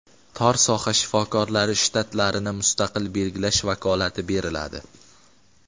tor soha shifokorlari shtatlarini mustaqil belgilash vakolati beriladi.